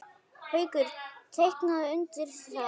Haukur: Tekurðu undir það?